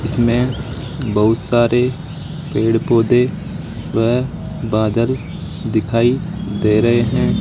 इसमें बहुत सारे पेड़ पौधे व बादल दिखाई दे रहे हैं।